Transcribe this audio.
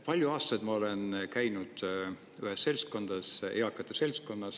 Palju aastaid ma olen käinud ühes seltskonnas, eakate seltskonnas.